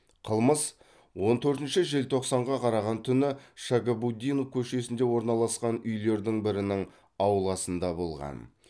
қылмыс он төртінші желтоқсанға қараған түні шагабутдинов көшесінде орналасқан үйлердің бірінің ауласында болған